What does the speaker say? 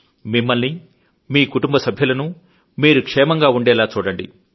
మిమ్మల్నీ మీ కుటుంబ సభ్యులను మీరు క్షేమంగా ఉండేలా చూడండి